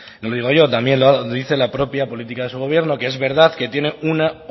no lo digo yo también lo dice la propia política de su gobierno que es verdad que tiene un